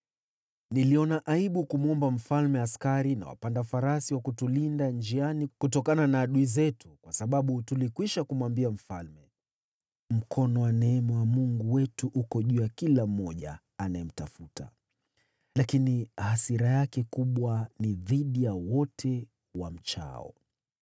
Niliona aibu kumwomba mfalme askari na wapanda farasi wa kutulinda njiani kutokana na adui zetu, kwa sababu tulikwisha kumwambia mfalme, “Mkono wa neema wa Mungu wetu uko juu ya kila mmoja anayemtafuta, lakini hasira yake kubwa ni dhidi ya wote wamwachao.”